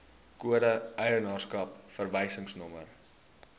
kode eienaarskap verwysingsnommer